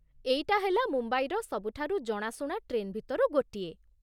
ଏଇଟା ହେଲା ମୁମ୍ବାଇର ସବୁଠାରୁ ଜଣାଶୁଣା ଟ୍ରେନ୍ ଭିତରୁ ଗୋଟିଏ ।